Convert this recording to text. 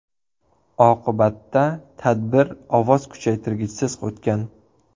Oqibatda tadbir ovoz kuchaytirgichsiz o‘tgan.